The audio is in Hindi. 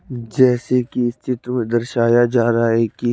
जैसे की इस चित्र में दर्शाया जा रहा है कि--